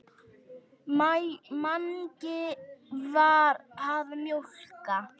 Mangi var að mjólka.